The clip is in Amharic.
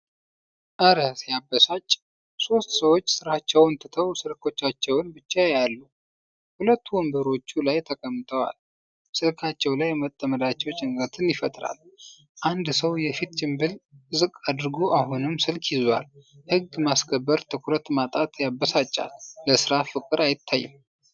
እረ ሲያበሳጭ! ሦስት ሰዎች ሥራቸውን ትተው ስልኮቻቸውን ብቻ ያያሉ። ሁለቱ ወንበሮቹ ላይ ተቀምጠው ስልካቸው ላይ መጥመዳቸው ጭንቀት ይፈጥራል። አንድ ሰው የፊት ጭንብል ዝቅ አድርጎ አሁንም ስልክ ይዟል። የሕግ ማስከበር ትኩረት ማጣት ያበሳጫል። ለስራ ፍቅር አይታይም!።